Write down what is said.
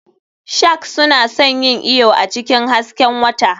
Sharks suna son yin iyo a cikin hasken wata.